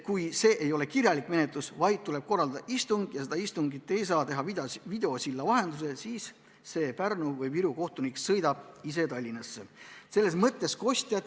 Kui see ei ole kirjalik menetlus ja tuleb korraldada istung ning seda istungit ei saa teha videosilla vahendusel, siis Pärnu või Viru kohtunik sõidab ise Tallinnasse.